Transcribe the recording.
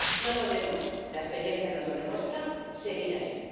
No podemos ―la experiencia nos lo demuestra― seguir así.